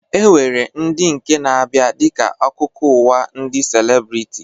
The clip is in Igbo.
E nwere nke na-abịa dịka akụkọ ụwa ndị celebriti